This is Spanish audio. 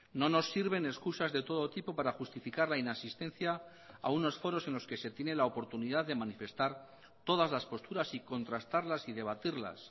no nos sirven excusas de todo tipo para justificar la inasistencia a unos foros en los que se tiene la oportunidad de manifestar todas las posturas y contrastarlas y debatirlas